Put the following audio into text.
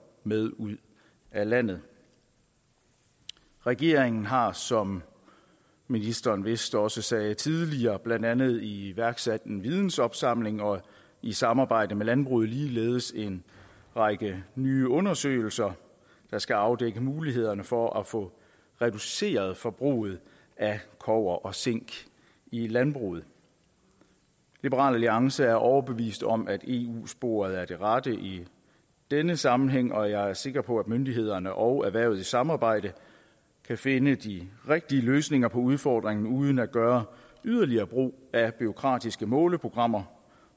med ud af landet regeringen har som ministeren vist også sagde tidligere blandt andet iværksat en vidensopsamling og i samarbejde med landbruget ligeledes en række nye undersøgelser der skal afdække mulighederne for at få reduceret forbruget af kobber og zink i landbruget liberal alliance er overbevist om at eu sporet er det rette i denne sammenhæng og jeg er sikker på at myndighederne og erhvervet i samarbejde kan finde de rigtige løsninger på udfordringen uden at gøre yderligere brug af bureaukratiske måleprogrammer